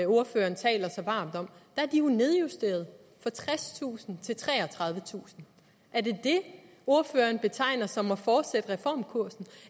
ordføreren taler så varmt om jo er nedjusteret fra tredstusind til treogtredivetusind er det det ordføreren betegner som at fortsætte reformkursen